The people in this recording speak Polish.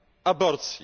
aborcji.